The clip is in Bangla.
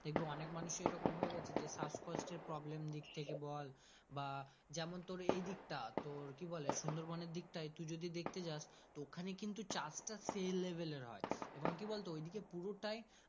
দেখবি অনেক মানুষ এর এই রকম হয়ে আছে যে শ্বাসকষ্ট প্রব্লেম দিকথেকে বল বা যেমন এই দিক টা তোর কি বলে সুন্দর বোনের দিকটাই টু যদিদেখতে যাস তো ওখানে কিন্তু চাষ তা সেই level এর হয় এবং কি বলতো পুরোটাই